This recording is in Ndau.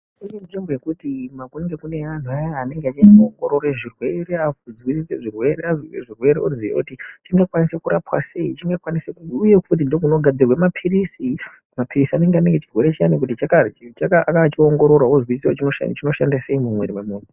Kune nzvimbo yekuti kunenge kune anhu aya anenge achiongorore zvirwere, zvese zvirwere oti chingakwanise kurapwa sei. Uye futi ndookunogadzirwe maphiris. Maphirisi anenge ane chirwere chiyani akachiongororwa oziiswa kuti chinoshanda sei mumwiiri memunhu.